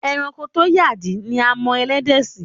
E̩ranko tó yàdí ni a mo̩ e̩lé̩dè̩ sí.